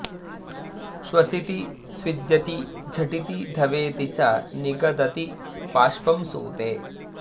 श्वसिति स्विद्यति झटिति धवेति च निगदति बाष्पं सूते